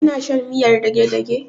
Kana shan miyar dagedage?